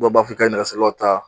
Dɔw b'a fɔ a ye nɛgɛsirilaw ta.